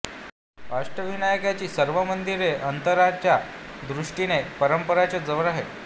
अष्टविनायकाची सर्व मंदिरे ही अंतराच्या दृष्टीने परस्परांच्या जवळ आहेत